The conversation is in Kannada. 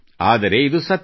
ಆದರೆ ಇದು ಸತ್ಯ